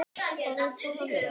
Kær kveðja, Eiður Andri.